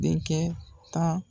Denkɛ tan